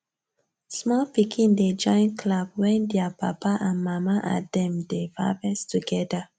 small pikin dey join clap wen their papa and mama and dem dey harvest together